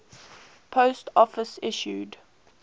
post office issued